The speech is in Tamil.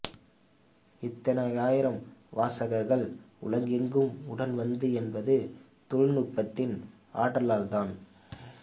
இத்தனை ஆயிரம் வாசகர்கள் உலகமெங்கும் உடன் வந்தது என்பது தொழில்நுட்பத்தின் ஆற்றலால்தான்